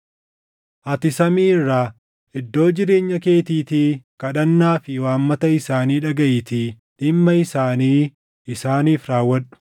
ati samii irraa, iddoo jireenya keetiitii kadhannaa fi waammata isaanii dhagaʼiitii dhimma isaanii isaaniif raawwadhu.